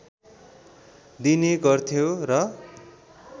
दिने गर्थ्यो र